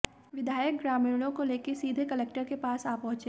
विधायक ग्रामीणों को लेकर सीधे कलेक्टर के पास आ पहुंचे